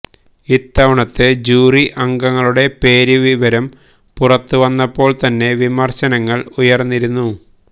ഇത്തവണത്തെ ജൂറി അംഗങ്ങളുടെ പേര് വിവരം പുറത്ത് വന്നപ്പോൾ തന്നെ വിമർശനങ്ങൾ ഉയർന്നിരുന്നു